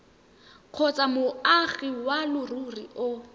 kgotsa moagi wa leruri o